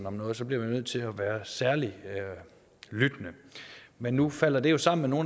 om noget så bliver man nødt til at være særlig lyttende men nu falder det jo sammen med